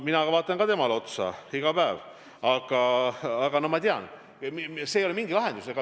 Mina vaatan ka temale iga päev otsa ja ma tean, et see ei ole mingi lahendus.